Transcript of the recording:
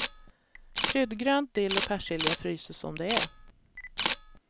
Kryddgrönt, dill och persilja fryses som det är.